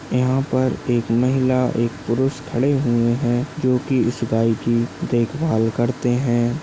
यहाँ पर एक महिला एक पुरुष खड़े हुए है जोकि इस गाय की देखभाल करते है।